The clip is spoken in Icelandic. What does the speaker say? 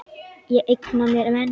Ég eigna mér menn.